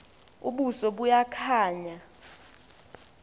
ubuso buya khanya